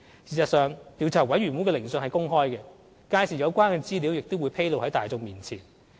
事實上，調查委員會的聆訊是公開的，屆時有關資料亦會披露在大眾面前。